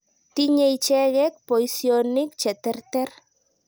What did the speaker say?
Tinye icheket poisyonik che terter.